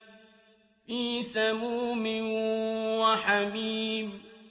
فِي سَمُومٍ وَحَمِيمٍ